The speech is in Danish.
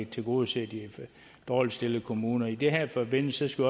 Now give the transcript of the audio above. tilgodeser de dårligst stillede kommuner i den her forbindelse skal